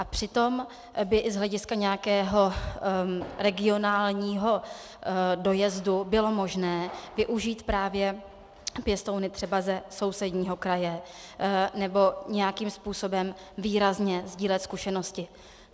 A přitom by i z hlediska nějakého regionálního dojezdu bylo možné využít právě pěstouny třeba ze sousedního kraje nebo nějakým způsobem výrazně sdílet zkušenosti.